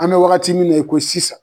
An be wagati min na i ko sisan